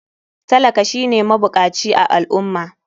Talaka shine mabukaci a al ummah